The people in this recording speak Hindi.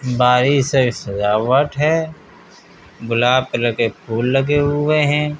से सजावट हैं। गुलाब कलर के फूल लगे हुए हैं।